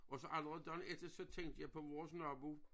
Og så allerede dagen efter så tænkte jeg på vores nabo